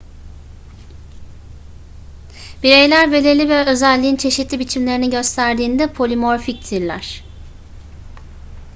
bireyler belirli bir özelliğin çeşitli biçimlerini gösterdiğinde polimorfiktirler